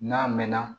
N'a mɛnna